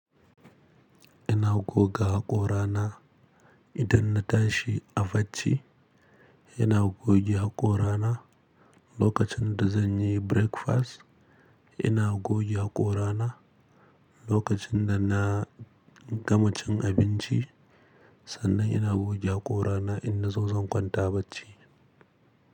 Ina goga haƙorana idan na tashi a bacci, ina goge haƙorana lokacin da zan yi breakfast, ina goge haƙorana lokacin da na gama cin abinci, sannan ina goge haƙorana in na zo zan kwanta bacci.